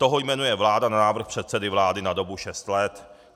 Toho jmenuje vláda na návrh předsedy vlády na dobu šesti let.